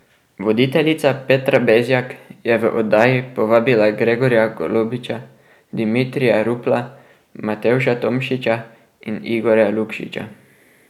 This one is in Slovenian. Voditeljica Petra Bezjak je v oddajo povabila Gregorja Golobiča, Dimitrija Rupla, Matevža Tomšiča in Igorja Lukšiča.